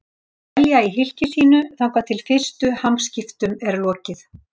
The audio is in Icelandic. Þeir dvelja í hylki sínu þangað til fyrstu hamskiptum er lokið.